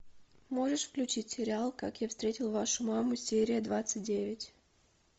можешь включить сериал как я встретил вашу маму серия двадцать девять